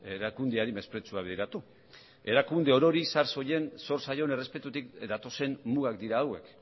erakundeari mesprezua bideratu erakunde orori zor zaion errespetutik datozen mugak dira hauek